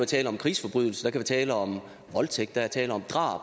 tale om krigsforbrydelser der tale om voldtægt der er tale om drab